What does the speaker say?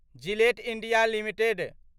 Gillette India limited